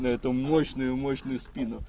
на эту мощную мощную спину